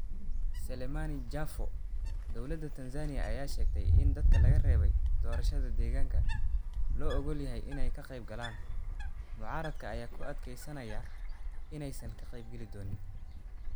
Selemani Jafo: Dowladda Tanzania ayaa sheegtay in dadka laga reebay doorashada deegaanka loo ogol yahay inay ka qaybgalaan, mucaaradka ayaa ku adkeysanaya inaysan ka qayb-geli doonin.